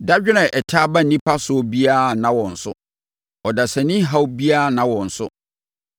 Dadwene a ɛtaa ba nnipa soɔ biara nna wɔn so; ɔdasani haw biara nna wɔn so.